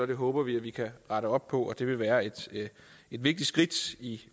det håber vi at vi kan rette op på det vil være et vigtigt skridt